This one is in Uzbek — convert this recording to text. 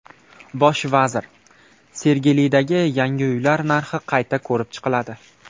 Bosh vazir: Sergelidagi yangi uylar narxi qayta ko‘rib chiqiladi.